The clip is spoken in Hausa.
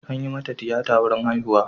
An yi mata tiyata wurin haihuwa.